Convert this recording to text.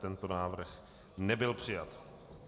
Tento návrh nebyl přijat.